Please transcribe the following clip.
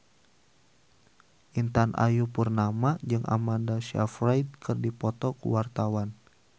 Intan Ayu Purnama jeung Amanda Sayfried keur dipoto ku wartawan